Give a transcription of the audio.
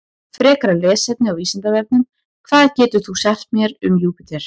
Frekara lesefni á Vísindavefnum: Hvað getur þú sagt mér um Júpíter?